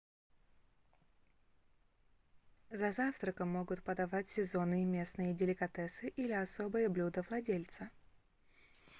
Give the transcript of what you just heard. за завтраком могут подавать сезонные местные деликатесы или особое блюдо владельца